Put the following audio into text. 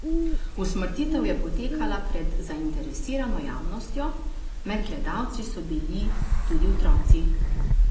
Usmrtitev je potekala pred zainteresirano javnostjo, med gledalci so bili tudi otroci.